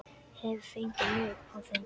Hef fengið nóg af þeim.